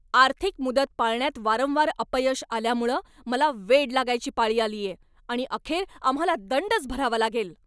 आर्थिक मुदत पाळण्यात वारंवार अपयश आल्यामुळं मला वेड लागायची पाळी आलीये आणि अखेर आम्हाला दंडच भरावा लागेल.